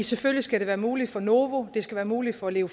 selvfølgelig skal det være muligt for novo det skal være muligt for leo